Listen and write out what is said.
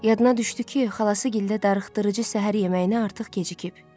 Yadına düşdü ki, xalası gildə darıxdırıcı səhər yeməyinə artıq gecikib.